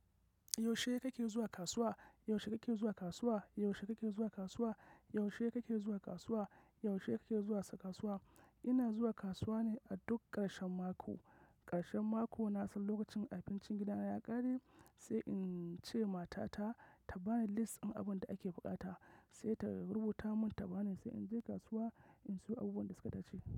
Yaushe kake zuwa kasuwa? Yaushe kake zuwa kasuwa? Yaushe kake zuwa kasuwa? Yaushe kake zuwa kasuwa? Yaushe kake zuwa kasuwa? Ina zuwa kasuwa ne a duk ƙarshen mako. Ƙarshen mako na san lokacin abincin gidana ya ƙare sai in ce mata ta, ta bani lis ɗin abunda ake buƙata sai ta rubuta mun ta bani sai in je kasuwa in sayo abubuwan da suka tace.